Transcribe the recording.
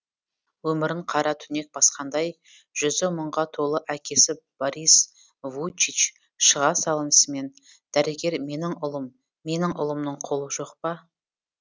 өмірін қара түнек басқандай жүзі мұңға толы әкесі борис вуйчич шыға салысымен дәрігер менің ұлым менің ұлымның қолы жоқ па